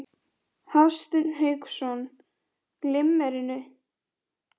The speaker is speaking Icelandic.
lagðar hitaveitur með plaströrum á velflesta bæi í